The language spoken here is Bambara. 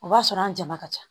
O b'a sɔrɔ an jama ka ca